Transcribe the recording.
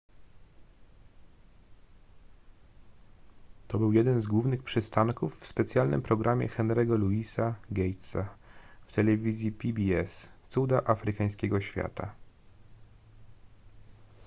to był jeden z głównych przystanków w specjalnym programie henry'ego louisa gatesa w telewizji pbs cuda afrykańskiego świata